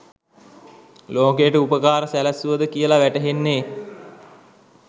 ලෝකයට උපකාර සැලැස්සුවද කියල වැටහෙන්නෙ